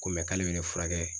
Ko k'ale bɛ ne furakɛ